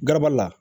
Garabali la